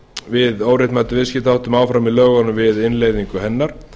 við óréttmætum viðskiptaháttum áfram í lögunum við innleiðingu hennar